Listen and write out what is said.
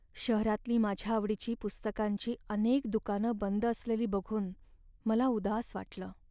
शहरातली माझ्या आवडीची पुस्तकांची अनेक दुकानं बंद असलेली बघून मला उदास वाटलं.